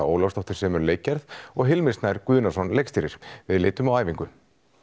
Ólafsdóttir semur leikgerð og Hilmir Snær Guðnason leikstýrir við litum á æfingu